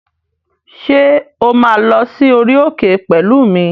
Ṣé o máa lọ sí orí òkè pẹ̀lú mi?